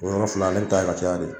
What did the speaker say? O yɔrɔ fila ne bɛ taa ye ka caya de.